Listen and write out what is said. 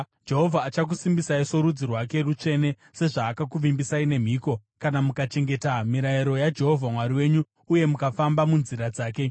Jehovha achakusimbisai sorudzi rwake rutsvene, sezvaakakuvimbisai nemhiko, kana mukachengeta mirayiro yaJehovha Mwari wenyu uye mukafamba munzira dzake.